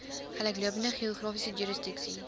gelyklopende geografiese jurisdiksie